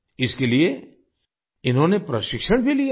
इसके लिए इन्होंने प्रशिक्षण भी लिया था